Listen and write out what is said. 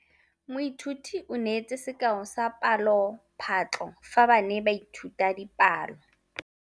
Moithuti o neetse sekaô sa palophatlo fa ba ne ba ithuta dipalo.